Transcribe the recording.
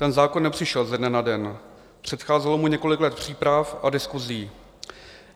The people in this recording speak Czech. Ten zákon nepřišel ze dne na den, předcházelo mu několik let příprav a diskusí.